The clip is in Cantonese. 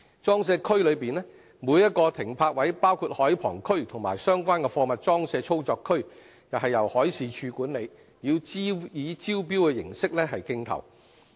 裝卸區內每個停泊位，包括海旁區及相關的貨物裝卸操作區，由海事處管理，以招標形式競投。